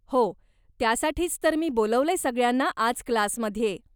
हो, त्यासाठीच तर मी बोलावलंय सगळ्यांना आज क्लासमध्ये.